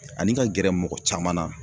Ani ka gɛrɛ mɔgɔ caman na